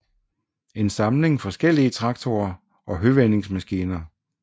En samling forskellige traktorer og høvendingsmaskiner